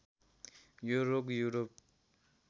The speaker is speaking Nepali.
यो रोग युरोप